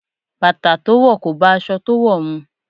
Bàtà to wò kò bá aṣọ to wò mu.